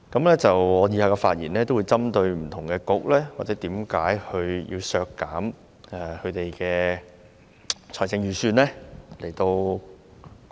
我以下的發言會針對不同的政策局，以解釋為甚麼要削減其預算開支。